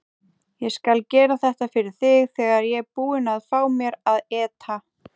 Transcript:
Ég skal gera þetta fyrir þig þegar ég er búinn að fá mér að éta.